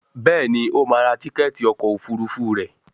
Béèni o má rà rà Tíkẹ́ẹ̀tì ọkọ̀ òfurufú rẹ.